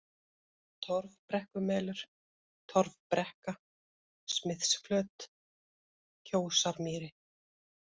Torfbrekkumelur, Torfbrekka, Smithsflöt, Kjósarmýri